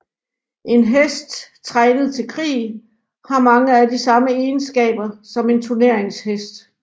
En hest trænet til krig har mange af de samme egenskaber som en turneringshest